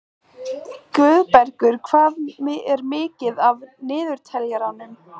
Guðbergur, hvað er mikið eftir af niðurteljaranum?